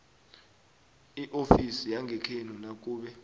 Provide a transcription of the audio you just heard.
iofisi yangekhenu nakube